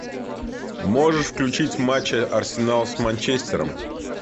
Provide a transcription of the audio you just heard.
можешь включить матч арсенал с манчестером